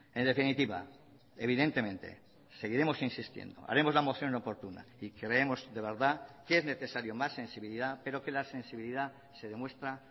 en definitiva evidentemente seguiremos insistiendo haremos la moción oportuna y creemos de verdad que es necesario más sensibilidad pero que la sensibilidad se demuestra